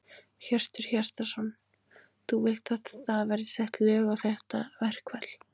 Hjörtur Hjartarson: Þú vilt að það verði sett lög á þetta verkfall?